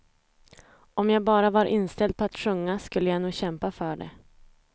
Om jag bara var inställd på att sjunga skulle jag nog kämpa för det.